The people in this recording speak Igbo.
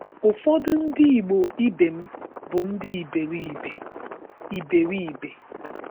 Ụfọdụ Ndị Igbo ibe m bụ ndị iberibe! iberibe!